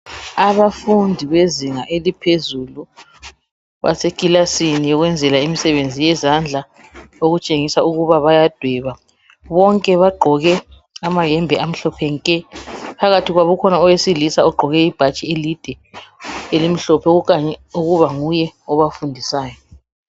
Abafundi abezinga eliphezulu basekilasini yokwenzela imisebenzi yezandla okutshengisa ukuba bayadweba. Bonke bagqoke amayembe amhlophe nke. Phakathi kwabo kukhona owesilisa ogqoke ibhatshi elide elimhlophe okukhanya ukuba nguye obafundisayo.